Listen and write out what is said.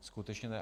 Skutečně ne.